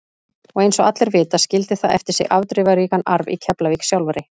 Og eins og allir vita skildi það eftir sig afdrifaríkan arf í Keflavík sjálfri.